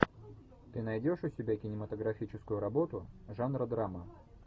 ты найдешь у себя кинематографическую работу жанра драма